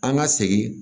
An ka segin